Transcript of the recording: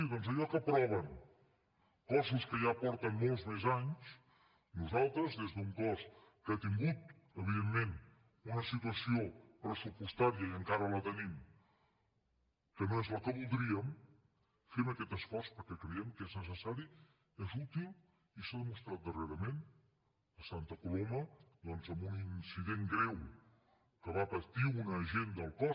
doncs allò que aproven cossos que ja porten molts més anys nosaltres des d’un cos que ha tingut evidentment una situació pressupostària i encara la tenim que no és la que voldríem fem aquest esforç perquè creiem que és necessari és útil i s’ha demostrat darrerament a santa coloma doncs en un incident greu que va patir una agent del cos